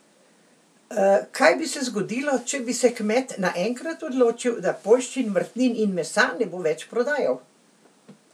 Kaj bi se zgodilo, če bi se kmet naenkrat odločil, da poljščin, vrtnin in mesa ne bo več prodajal?